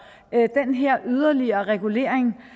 den her yderligere regulering